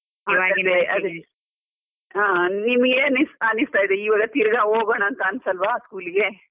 ಹ ನಿಮ್ಗೆನ್ ಅನಿಸ್ತಾ ಇದೆ, ಇವಾಗ ತಿರ್ಗಾ ಹೋಗೋಣ ಅಂತ ಅನ್ಸಲ್ವಾ ಸ್ಕೂಲಿಗೆ?